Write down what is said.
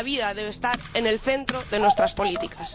Y la vida debe estar en el centro de nuestras políticas.